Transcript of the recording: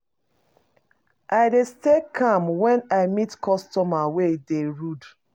I dey stay calm wen I meet customer wey dey rude.